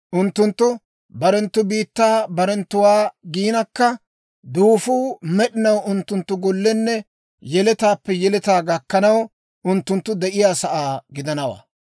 Unttunttu barenttu biittaa barenttuwaa giinakka, duufuu med'inaw unttunttu gollenne yeletaappe yeletaa gakkanaw unttunttu de'iyaa sa'aa gidanawaa.